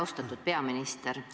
Austatud peaminister!